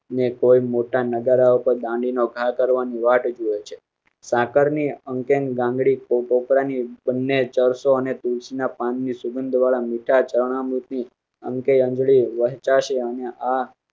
ને કોઈ મોટા નગારા ઉપર દાંડી નો ઘા કરવાની વાટ જુએ છે. સાકરની ગાંગ ડી કોપરા ની બન્ને ચર્ચો અને તુલસી ના પાન ની સુગંધવાળા મીઠા ચરણામૃત આ